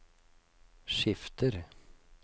skifter